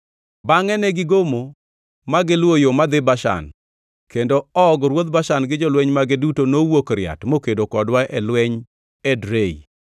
Bangʼe negigomo ma giluwo yo madhi Bashan, kendo Og ruodh Bashan gi jolweny mage duto nowuok riat mokedo kodwa e lweny Edrei.